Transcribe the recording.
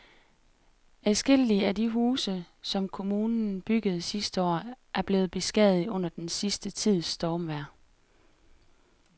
Adskillige af de huse, som kommunen byggede sidste år, er blevet beskadiget under den sidste tids stormvejr.